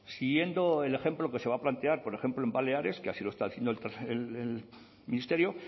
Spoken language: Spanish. siguiendo el ejemplo que se va a plantear por ejemplo en baleares que así lo está haciendo el ministerio